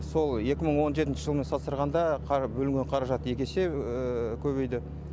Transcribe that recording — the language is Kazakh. сол екі мың он жетінші жылмен салыстырғанда бөлінген қаражат екі есе көбейді